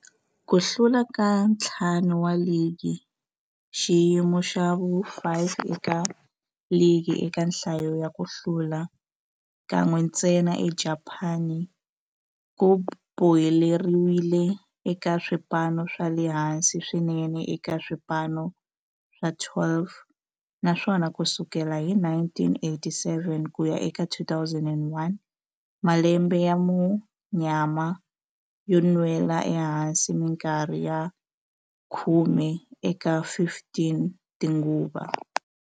Ku hlula ka ntlhanu wa ligi, xiyimo xa vu-5 eka ligi eka nhlayo ya ku hlula, kan'we ntsena eJapani, ku boheleriwile eka swipano swa le hansi swinene eka swipano swa 12, naswona ku sukela hi 1987 ku ya eka 2001, malembe ya munyama yo nwela ehansi minkarhi ya khume eka 15 tinguva.